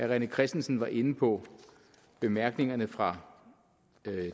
rené christensen var inde på bemærkningerne fra